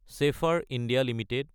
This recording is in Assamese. Schaeffler India Ltd